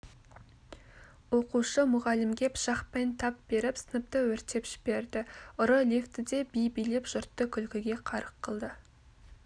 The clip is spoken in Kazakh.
оқушы мұғалімге пышақпен тап беріп сыныпты өртеп жіберді ұры лифтіде би билеп жұртты күлкіге қарық қылды